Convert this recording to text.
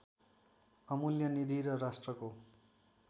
अमूल्य निधि र राष्ट्रको